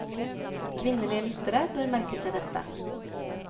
Kvinnelige lyttere bør merke seg dette.